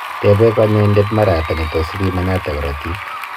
tepee kanyaindet mara ata netus ipimanat karatik